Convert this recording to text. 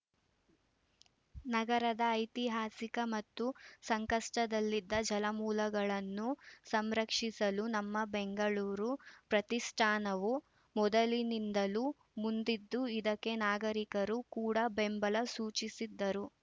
ನಗರದ ಐತಿಹಾಸಿಕ ಮತ್ತು ಸಂಕಷ್ಟದಲ್ಲಿದ್ದ ಜಲಮೂಲಗಳನ್ನು ಸಂರಕ್ಷಿಸಲು ನಮ್ಮ ಬೆಂಗಳೂರು ಪ್ರತಿಷ್ಠಾನವು ಮೊದಲಿನಿಂದಲೂ ಮುಂದಿದ್ದು ಇದಕ್ಕೆ ನಾಗರಿಕರು ಕೂಡ ಬೆಂಬಲ ಸೂಚಿಸಿದ್ದರು